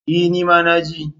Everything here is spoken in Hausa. E! ni ma na ji.